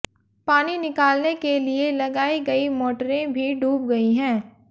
पानी निकालने के लिए लगाई गई मोटरें भी डूब गई हैं